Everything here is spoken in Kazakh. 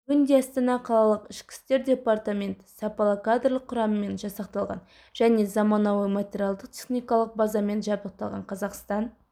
бүгінде астана қалалық ішкі істер департаменті сапалы кадрлық құраммен жасақталған және заманауи материалдық-техникалық базамен жабдықталған қазақстан